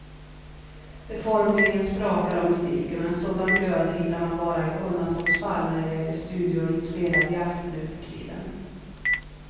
Det formligen sprakar om musiken och en sådan glöd hittar man bara i undantagsfall när det gäller studioinspelad jazz nuförtiden.